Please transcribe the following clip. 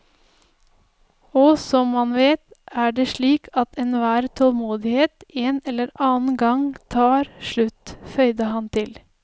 Og som man vet, er det slik at enhver tålmodighet en eller annen gang tar slutt, føyde han til.